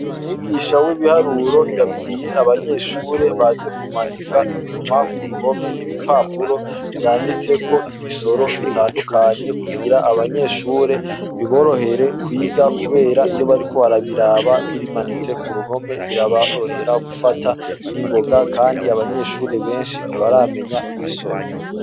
Umwigisha w’ibiharuro ,yabwiye abanyeshure baze kumanika inyuma kuruhome ibipapuro vyanditseko ibisoro bitandukanye ,kugira abanyeshure ,biborohere kwiga kubera iyo bariko barabiraba bimanitse kuruhome biraborohera gufata ningoga, Kandi abanyeshure benshi ntibaramenya ibisoro.